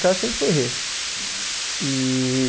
Casa sempre foi Rê. Hum. E